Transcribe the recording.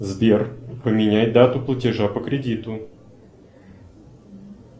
сбер поменяй дату платежа по кредиту